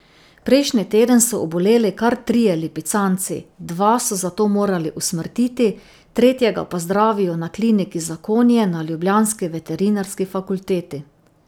Prejšnji teden so oboleli kar trije lipicanci, dva so zato morali usmrtiti, tretjega pa zdravijo na kliniki za konje na ljubljanski veterinarski fakulteti.